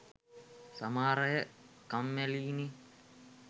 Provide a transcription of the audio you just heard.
සමහර අය කම්මැලියිනේ